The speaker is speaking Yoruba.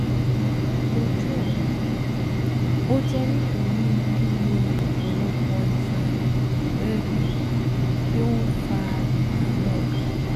Ojú ẹ̀yin, ó jẹ́ nítorí lílo ọ̀pọ̀lọpọ̀ iṣan ẹ̀gbẹ́ ẹ̀gbẹ́ tí ó ń fa ìdààmú ọkàn